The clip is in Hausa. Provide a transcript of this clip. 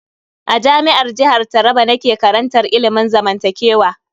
A Jami'ar jihar Taraba nake karantar ilimin zamantakewa.